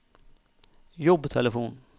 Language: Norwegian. jobbtelefon